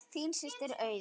Þín systir, Auður.